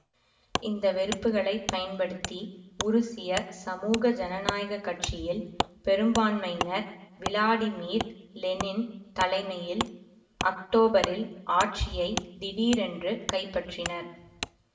இந்த வெறுப்புகளை பயன்படுத்தி உருசிய சமூக ஜனநாயக கட்சியில் பெரும்பான்மையினர் விளாடிமீர் லெனின் தலைமையில் அக்டோபரில் ஆட்சியை திடீரென்று கைப்பற்றினர்